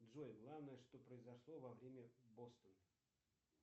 джой главное что произошло во время бостона